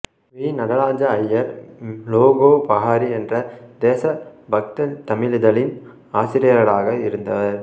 we Nataraja Iyer Lokopakari என்ற தேச பக்தத் தமிழிதழின் ஆசிரியராக இருந்தவர்